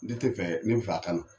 Ne te fɛ ne be a ka na